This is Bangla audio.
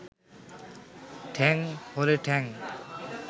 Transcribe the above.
ঠ্যাং হলে ঠ্যাং